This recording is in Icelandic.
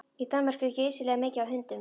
Í Danmörku er geysilega mikið af hundum.